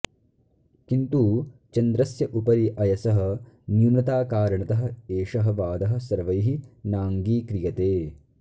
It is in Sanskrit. किन्तु चन्द्रस्य उपरि अयसः न्यूनताकारणतः एषः वादः सर्वैः नाङ्गीक्रियते